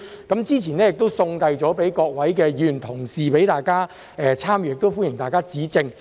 建議書已於早前送遞給各位議員同事，讓大家參閱，亦歡迎大家指正。